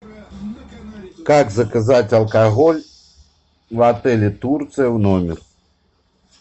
как заказать алкоголь в отеле турция в номер